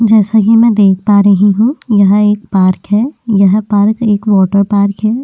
जैसा कि मैं देख पा रही हूँ यह एक पार्क है यह पार्क एक वॉटर पार्क है।